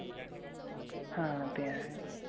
हां ते आहे.